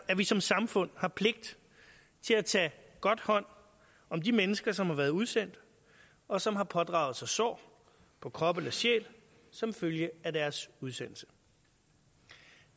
at vi som samfund har pligt til at tage godt hånd om de mennesker som har været udsendt og som har pådraget sig sår på krop eller sjæl som følge af deres udsendelse